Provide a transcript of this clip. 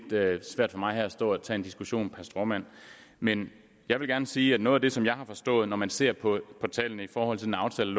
svært for mig at stå her og tage en diskussion per stråmand men jeg vil gerne sige at noget af det som jeg har forstået når man ser på tallene i forhold til den aftale